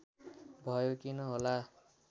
भयो किन होला